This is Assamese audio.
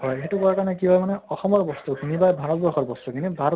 হয় সেইটো কৰাৰ কাৰণে কি হয় মানে অসমৰ বস্তু খিনি বা ভাৰত বৰ্ষৰ বস্তু খিনি ভাৰত